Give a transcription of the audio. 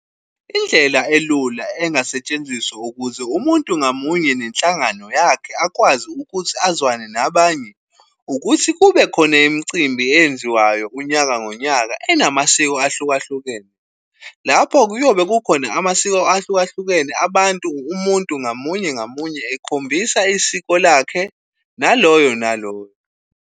Indlela elula engasetshenziswa ukuze umuntu ngamunye nenhlangano yakhe akwazi ukuthi azwane nabanye, ukuthi kube khona imicimbi eyenziwayo unyaka nonyaka enamasiko ahlukahlukene, lapho kuyobe kukhona amasiko ahlukahlukene abantu umuntu ngamunye ngamunye ekhombisa isiko lakhe, naloyo nalowo.